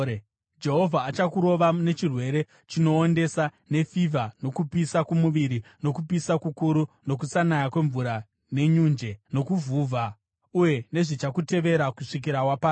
Jehovha achakurova nechirwere chinoondesa, nefivha nokupisa kwomuviri, nokupisa kukuru, nokusanaya kwemvura nenyunje, nokuvhuvha, uye zvichakutevera kusvikira waparara.